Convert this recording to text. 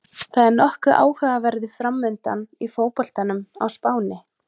Það er nokkuð áhugaverður framundan í fótboltanum á Spáni.